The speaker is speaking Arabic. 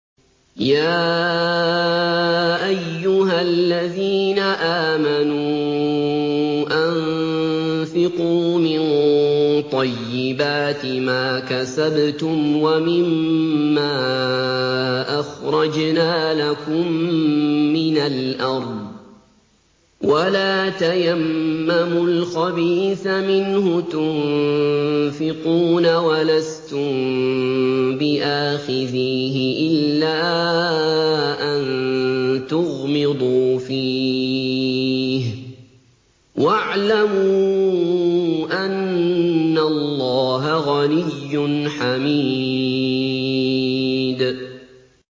يَا أَيُّهَا الَّذِينَ آمَنُوا أَنفِقُوا مِن طَيِّبَاتِ مَا كَسَبْتُمْ وَمِمَّا أَخْرَجْنَا لَكُم مِّنَ الْأَرْضِ ۖ وَلَا تَيَمَّمُوا الْخَبِيثَ مِنْهُ تُنفِقُونَ وَلَسْتُم بِآخِذِيهِ إِلَّا أَن تُغْمِضُوا فِيهِ ۚ وَاعْلَمُوا أَنَّ اللَّهَ غَنِيٌّ حَمِيدٌ